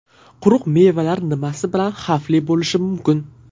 Quruq mevalar nimasi bilan xavfli bo‘lishi mumkin?.